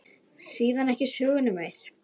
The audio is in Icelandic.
Síðan ekki söguna meir.